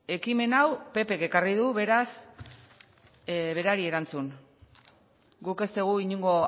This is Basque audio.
ekimen hau ppk ekarri du beraz berari erantzun guk ez dugu inongo